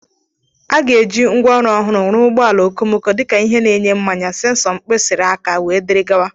A ga-eji ngwaọrụ ọhụrụ rụọ ụgbọala okomoko, dịka ihe na-enye mmanya, sensọ mkpịsịri aka wdg.